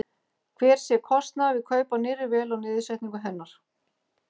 Hver sé kostnaður við kaup á nýrri vél og niðursetningu hennar?